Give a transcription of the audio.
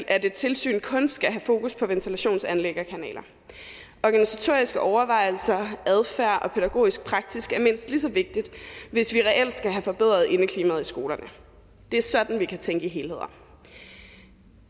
at et tilsyn kun skal have fokus på ventilationsanlæg og kanaler organisatoriske overvejelser adfærd og pædagogisk praksis er mindst lige så vigtigt hvis vi reelt skal have forbedret indeklimaet i skolerne det er sådan vi kan tænke i helheder